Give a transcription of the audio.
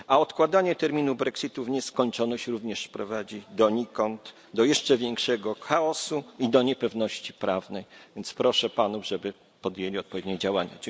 A odkładanie terminu brexitu w nieskończoność również prowadzi donikąd, do jeszcze większego chaosu i do niepewności prawnej, więc proszę Panów, żeby podjęli odpowiednie działania.